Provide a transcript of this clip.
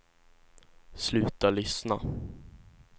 sluta lyssna